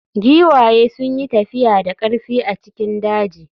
Giwaye sun yi tafiya da ƙarfi a cikin daji.